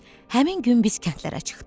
Həmin gün biz kəndlərə çıxdıq.